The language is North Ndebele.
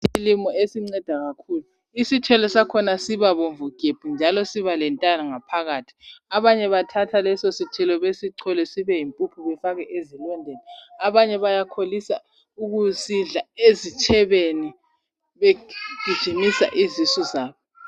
Isithelo esinceda kakhulu. Isithelo sakhona sibabomvu gebhu njalo siba lentanga phakathi. Abanye bathatha leso sithelo besichole sibe yimphuphu bafake ezilondeni, abanye bayakholisa ukusidla ezitshebeni begijimisa izisu zabo.